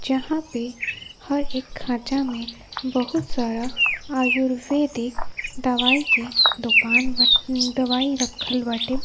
जहां पे हर एक खांचा में बहुत सारा आयुर्वेदिक दवाय के दोकान ब दवाई रखल बाटे।